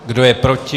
Kdo je proti?